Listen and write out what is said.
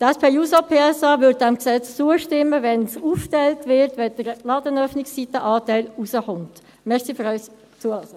Die SPJUSO-PSA würde diesem Gesetz zustimmen, wenn es aufgeteilt würde, wenn der Ladenöffnungszeiten-Anteil rauskommen würde.